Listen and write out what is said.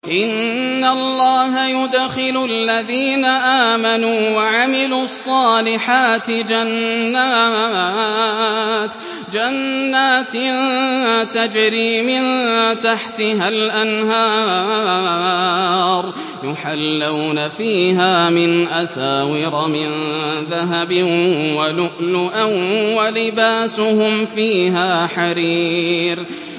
إِنَّ اللَّهَ يُدْخِلُ الَّذِينَ آمَنُوا وَعَمِلُوا الصَّالِحَاتِ جَنَّاتٍ تَجْرِي مِن تَحْتِهَا الْأَنْهَارُ يُحَلَّوْنَ فِيهَا مِنْ أَسَاوِرَ مِن ذَهَبٍ وَلُؤْلُؤًا ۖ وَلِبَاسُهُمْ فِيهَا حَرِيرٌ